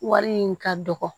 Wari in ka dɔgɔ